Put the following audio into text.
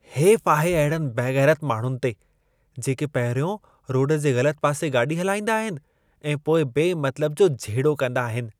हेफ़ आहे अहिड़नि बेग़ैरति माण्हुनि ते जेके पहिरियों रोड जे ग़लत पासे गाॾी हलाईंदा आहिनि ऐं पोइ बेमतिलब जो झेड़ो कंदा आहिनि।